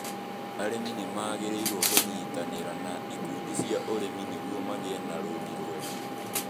Arĩmi nĩ magĩrĩirũo kũnyitanĩ ra na ikundi cia ũrimu nĩ guo magĩ e na rũni ruega